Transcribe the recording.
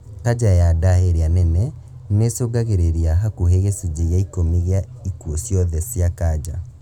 Kanja ya nda ĩrĩa nene nĩicungagĩrĩria hakuhĩ gĩcunjĩ gĩa ikũmi gia ikuũ ciothe cia kanja